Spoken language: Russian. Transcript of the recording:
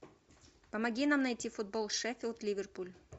помоги нам найти футбол шеффилд ливерпуль